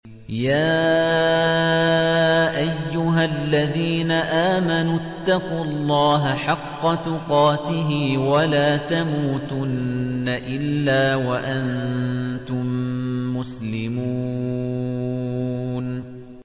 يَا أَيُّهَا الَّذِينَ آمَنُوا اتَّقُوا اللَّهَ حَقَّ تُقَاتِهِ وَلَا تَمُوتُنَّ إِلَّا وَأَنتُم مُّسْلِمُونَ